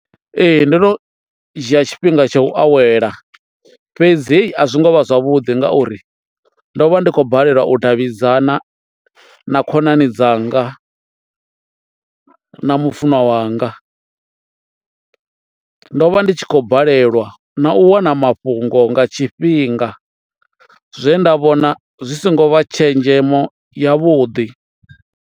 Ee ndo no dzhia tshifhinga tsha u awela fhedzi a zwi ngo vha zwavhuḓi ngauri ndo vha ndi khou balelwa u davhidzana na khonani dzanga na mufunwa wanga, ndo vha ndi tshi khou balelwa na u wana mafhungo nga tshifhinga zwe nda vhona zwi songo vha tshenzhemo ya vhuḓi.